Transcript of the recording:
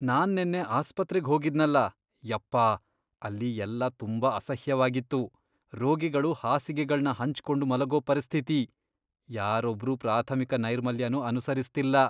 ನಾನ್ ನೆನ್ನೆ ಆಸ್ಪತ್ರೆಗ್ ಹೋಗಿದ್ನಲ.. ಯಪ್ಪ.. ಅಲ್ಲಿ ಎಲ್ಲಾ ತುಂಬಾ ಅಸಹ್ಯವಾಗಿತ್ತು. ರೋಗಿಗಳು ಹಾಸಿಗೆಗಳ್ನ ಹಂಚ್ಕೊಂಡ್ ಮಲ್ಗೋ ಪರಿಸ್ಥಿತಿ.. ಯಾರೊಬ್ರೂ ಪ್ರಾಥಮಿಕ ನೈರ್ಮಲ್ಯನೂ ಅನುಸರಿಸ್ತಿಲ್ಲ.